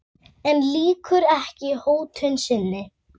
En lýkur ekki hótun sinni.